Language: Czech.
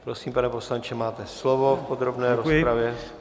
Prosím, pane poslanče, máte slovo v podrobné rozpravě.